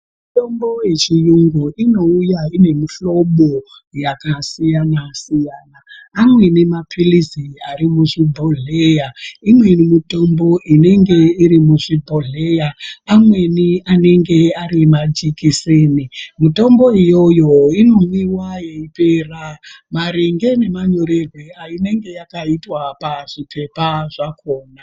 Mitombo yechiyungu inouya ine muhlombo nemihlobo yakasiyana siyana amweni mapilisi ari muzvibhohlera imweni mitombo inenge iri muzvibhohlera amweni anenge ari majekiseni mitombo iyoyo inomwiwa yeipera maringe nemanyorerwe ayinenge yakaitwa pazvipepa zvakona.